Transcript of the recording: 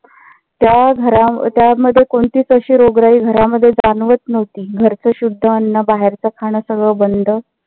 त्या घरा त्यामध्ये कोणतीच अशी रोगराई घरामध्ये जाणवत नव्हती. घरचं शुध्द अन्न बाहेरच खाण सगळ बंद